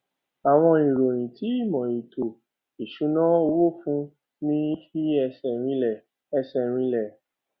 àwọn ìróyin tí ìmò ètò ìṣúná owó fún ní fi ẹsẹ rinlẹ ẹsẹ rinlẹ